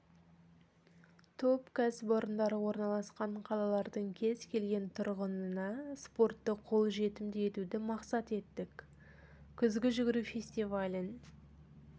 топ кәсіпорындары орналасқан қалалардың кез келген тұрғынына спортты қолжетімді етуді мақсат еттік күзгі жүгіру фестивалін